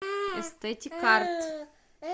эстетикарт